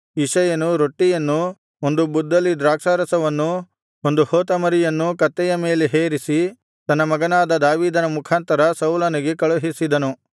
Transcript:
ಇಷಯನು ರೊಟ್ಟಿಯನ್ನೂ ಒಂದು ಬುದ್ದಲಿ ದ್ರಾಕ್ಷಾರಸವನ್ನೂ ಒಂದು ಹೋತಮರಿಯನ್ನೂ ಕತ್ತೆಯ ಮೇಲೆ ಹೇರಿಸಿ ತನ್ನ ಮಗನಾದ ದಾವೀದನ ಮುಖಾಂತರ ಸೌಲನಿಗೆ ಕಳುಹಿಸಿದನು